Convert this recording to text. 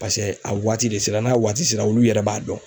paseke a waati de sera n'a waati sera olu yɛrɛ b'a dɔn.